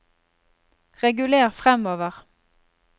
reguler framover